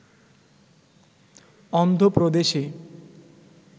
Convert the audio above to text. অন্ধ্র প্রদেশে